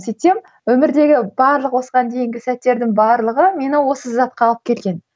сөйтсем өмірдегі барлық осыған дейінгі сәттердің барлығы мені осы затқа алып келген